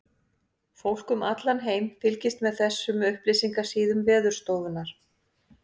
Fólk um allan heim fylgist með þessum upplýsingasíðum Veðurstofunnar.